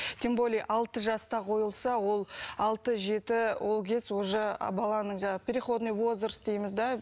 тем более алты жаста қойылса ол алты жеті ол кез уже баланың жаңағы переходный возраст дейміз де